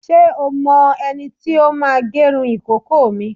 Ṣé o mọ ẹni tí ó máa gẹrun ìkókó mi?